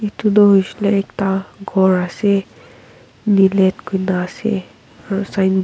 itu tu huishele ekta ghor ase nielet kuina ase aru signboard .